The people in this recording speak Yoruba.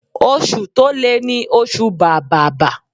Oṣù to le ni oṣù bàbàbà.